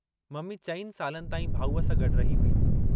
Mummy चइनि सालनि ताईं भाऊअ सां गड्डु रही हुई।